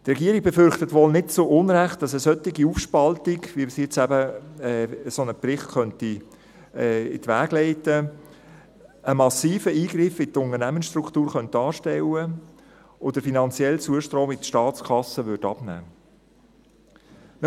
Die Regierung befürchtet – wohl nicht zu Unrecht –, dass eine solche Aufspaltung, wie sie durch einen solchen Bericht eben in die Wege geleitet werden könnte, einen massiven Eingriff in die Unternehmensstruktur darstellen könnte, und der finanzielle Zustrom in die Staatskasse abnehmen würde.